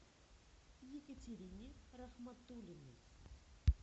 екатерине рахматуллиной